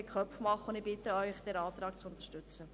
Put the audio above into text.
Ich bitte Sie, diesen Antrag zu unterstützen.